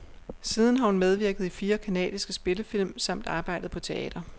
Siden har hun medvirket i fire canadiske spillefilm samt arbejdet på teater.